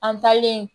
An taalen